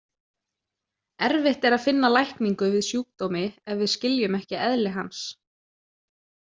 Erfitt er að finna lækningu við sjúkdómi ef við skiljum ekki eðli hans.